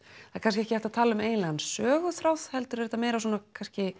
það er kannski ekki hægt að tala um eiginlegan söguþráð heldur er þetta meira kannski